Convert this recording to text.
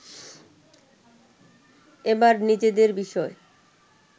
এবার নিজেদের বিষয়